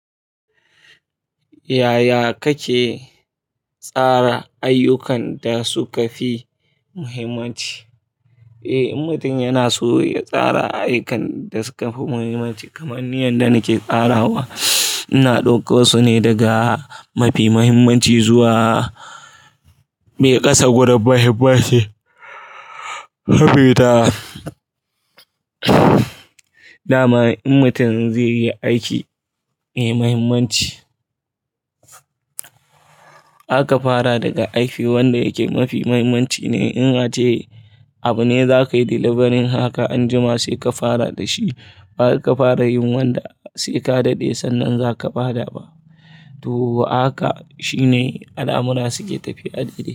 Yaya kake tsara ayyukan da suka fi muhimmanci? Eh, in mutum yana so ya tsara ayyukan da suka fi muhimmanci, kamar ni yadda nake tsarawa, ina ɗauko su ne daga mafi muhimmanci zuwa me ƙasa gurin mahimmanci. Sabida, dama in mutum zai yi aiki mai muhimmanci, aka fara daga aiki wanda yake mafi muhimmanci ne. In ace abu ne za ka yi delivering haka anjima sai ka fara da shi, ba wai ka fara yin wanda sai ka daɗe sannan za ka baɗa ba. To haka shine alamura suke tafiya a dare.